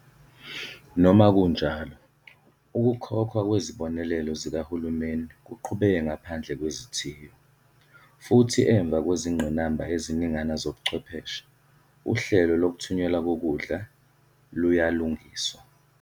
Noma kunjalo, ukukhokhwa kwezibonelelo zikahulumeni kuqhubeke ngaphandle kwezithiyo, futhi emva kwezingqinamba eziningana zobuchwepheshe, uhlelo lokuthunyelwa kokudla luyalungiswa.